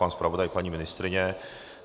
Pan zpravodaj, paní ministryně?